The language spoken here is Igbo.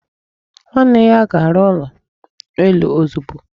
Nwanne ya ga-arụ ụlọ elu ozugbo.